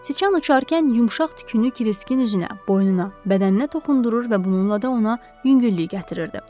Siçan uçarkən yumşaq tükünü Kriskin üzünə, boynuna, bədəninə toxundurur və bununla da ona yüngüllük gətirirdi.